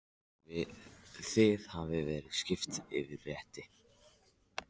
Þið hafið verið svipt ykkar rétti.